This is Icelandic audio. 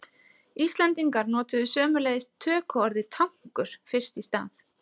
Íslendingar notuðu sömuleiðis tökuorðið tankur fyrst í stað.